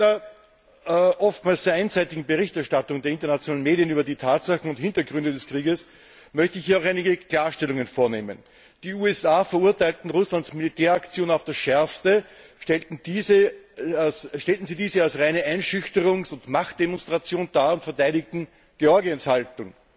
Aufgrund der leider oftmals sehr einseitigen Berichterstattung der internationalen Medien über die Tatsachen und Hintergründe des Krieges möchte ich hier einige Klarstellungen vornehmen Die USA verurteilten Russlands Militäraktion auf das Schärfste, stellten diese als reine Einschüchterungs und Machtdemonstration dar und verteidigten Georgiens Haltung.